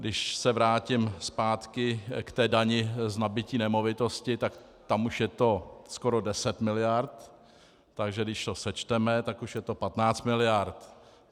Když se vrátím zpátky k té dani z nabytí nemovitosti, tak tam už je to skoro deset miliard, takže když to sečteme, tak už je to 15 miliard.